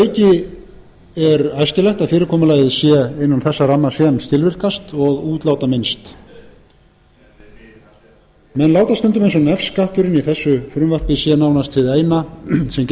auki er æskilegt að fyrirkomulagið sé innan þess ramma sem er skilvirkast og útlátaminnst menn láta stundum eins og nefskatturinn í þessu frumvarpi sé nánast hið eina sem